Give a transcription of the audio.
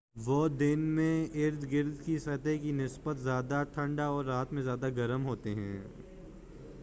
وہ دن میں اردگرد کی سطح کی نسبت زیادہ ٹھنڈے اور رات میں زیادہ گرم ہوتے ہیں